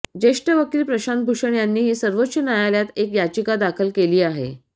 ज्येष्ठ वकील प्रशांत भूषण यांनीही सर्वोच्च न्यायालयात एक याचिका दाखल केली आहे